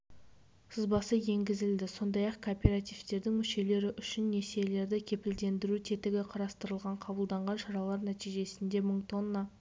сызбасы енгізілді сондай-ақ кооперативтердің мүшелері үшін несиелерді кепілдендіру тетігі қарастырылған қабылданған шаралар нәтижесінде мың тонна